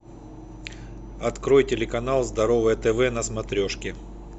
открой телеканал здоровое тв на смотрешке